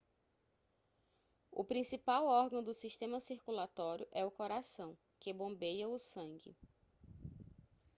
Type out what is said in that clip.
o principal órgão do sistema circulatório é o coração que bombeia o sangue